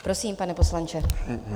Prosím, pane poslanče.